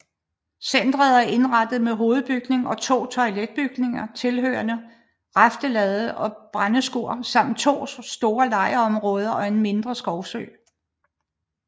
Centret er indrettet med hovedbygning og to toiletbygninger tilhørende raftelade og brændeskur samt to store lejrområder og en mindre skovsø